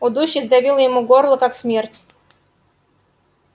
удушье сдавило ему горло как смерть